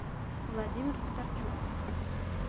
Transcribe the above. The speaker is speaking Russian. владимир федорчук